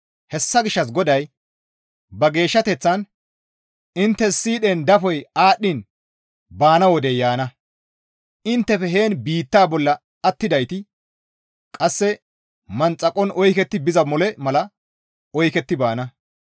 Hessa gishshas GODAY ba geeshshateththan, «Inttes siidhen dafoy aadhdhiin intte baana wodey yaana; inttefe heen biitta bolla attidayti qasse manxakon oyketti biza mole mala oyketti baana.